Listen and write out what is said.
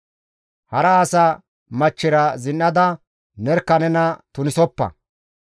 «Hara asa machchira zin7ada nerkka nena tunisoppa.